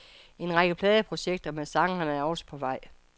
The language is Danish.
En række pladeprojekter med sangeren er også på vej.